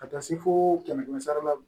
Ka taa se fo kɛmɛ kɛmɛ sara la